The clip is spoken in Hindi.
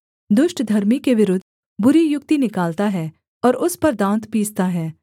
दुष्ट धर्मी के विरुद्ध बुरी युक्ति निकालता है और उस पर दाँत पीसता है